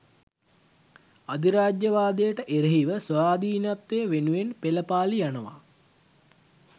අධිරාජ්‍යවාදයට එරෙහිව ස්වාධීනත්වය වෙනුවෙන් පෙළපාළි යනවා